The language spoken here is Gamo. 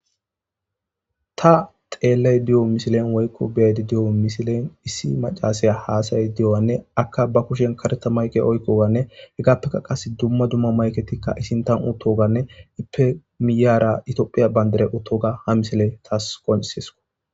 ta xeellay di7o misilen woykko beedi di7o misilen issi macasaya haasay di7owanne akka ba kushen kareta mayqe oykkoganne hegaappeka qas dumma dumma mayketikka isintan uttoganne ippemiyara itophiya bayndere uttoga ha misiley taas qonsesko